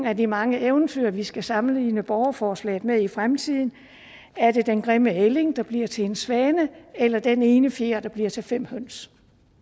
af de mange eventyr vi skal sammenligne borgerforslagene med i fremtiden er det den grimme ælling der bliver til en svane eller den ene fjer der bliver til fem høns